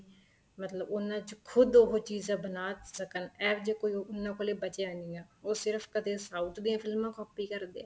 ਮਤਲਬ ਉਹਨਾ ਚ ਖੁੱਦ ਉਹ ਚੀਜ਼ਾਂ ਬਣਾ ਸਕਣ ਐਵੇਂ ਜਾ ਉਹਨਾ ਕੋਲ ਬਚਿਆ ਨਹੀਂ ਹੈ ਉਸ ਸਿਰਫ਼ ਕਦੇ south ਦੇ ਫਿਲਮਾਂ copy ਕਰਦੇ ਏ